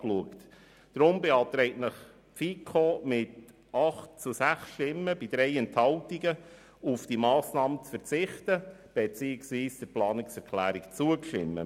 Deshalb beantragt Ihnen die FiKo mit 8 Ja- gegen 6 Nein-Stimmen bei 3 Enthaltungen auf die Massnahme zu verzichten beziehungsweise der Planungserklärung zuzustimmen.